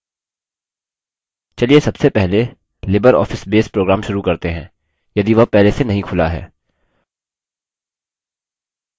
चलिए सबसे पहले libreoffice base program शुरू करते हैं यदि वह पहले से नहीं खुला है